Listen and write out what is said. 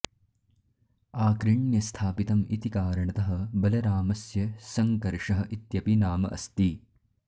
आकृण्य स्थापितम् इति कारणतः बलरामस्य सङ्कर्षः इत्यपि नाम अस्ति